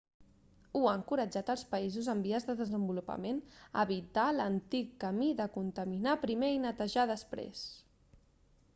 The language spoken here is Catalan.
hu ha encoratjat els països en vies de desenvolupament a evitar l'antic camí de contaminar primer i netejar després